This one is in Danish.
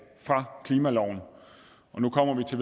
fra klimaloven nu kommer vi til